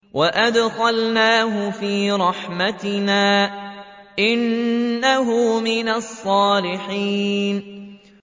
وَأَدْخَلْنَاهُ فِي رَحْمَتِنَا ۖ إِنَّهُ مِنَ الصَّالِحِينَ